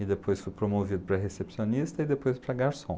e depois fui promovido para recepcionista e depois para garçom.